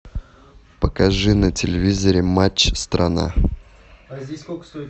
покажи на телевизоре матч страна